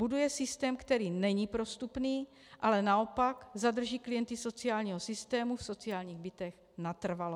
Buduje systém, který není prostupný, ale naopak zadrží klienty sociálního systému v sociálních bytech natrvalo.